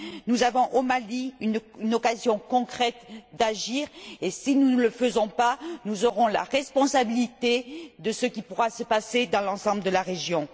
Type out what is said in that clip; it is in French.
Nous avons, au Mali, une occasion concrète d'agir et, si nous ne le faisons pas, nous aurons la responsabilité de ce qui pourra se passer dans l'ensemble de la région.